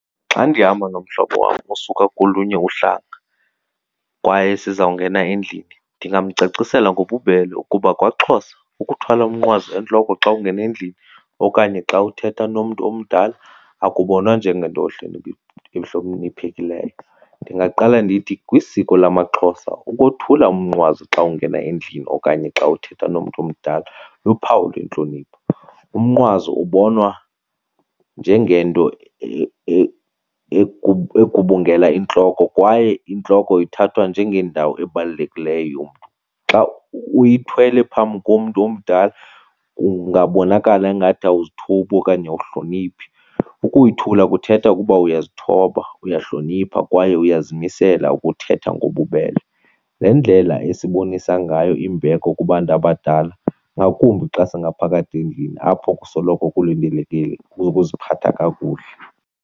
Xa ndihamba nomhlobo wam osuka kolunye uhlanga kwaye sizawungena endlini ndingamcacisela ngobubele ukuba kwaXhosa ukuthwala umnqwazi entloko xa ungena endlini okanye xa uthetha nomntu omdala akubonwa njengento ehloniphekileyo. Ndingaqala ndithi kwisiko lamaXhosa ukothula umnqwazi xa ungena endlini okanye xa uthetha nomntu omdala luphawu lwentlonipho. Umnqwazi ubonwa njengento egubungela intloko kwaye intloko ithathwa njengendawo ebalulekileyo yomntu. Xa uyithelwe phambi komntu omdala kungabonakala ingathi awuzithobi okanye awuhloniphi. Ukuyithula kuthetha ukuba uyazithoba, uyahlonipha kwaye uyazimisela ukuthetha ngobubele. Le ndlela esibonisa ngayo imbeko kubantu abadala, ngakumbi xa singaphakathi endlini apho kusoloko kulindelekile ukuziphatha kakuhle.